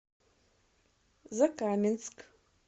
закаменск